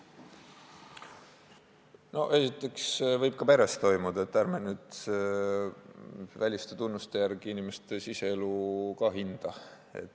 Esiteks võib see ka peres toimuda, nii et ärme nüüd väliste tunnuste järgi inimeste siseelu hinda.